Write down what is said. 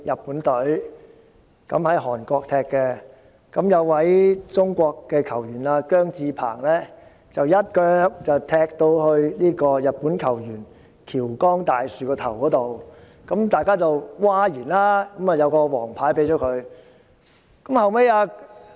比賽期間，中國球員姜至鵬一腳踢向日本球員橋岡大樹的頭部，引起譁然，球證於是出示黃牌。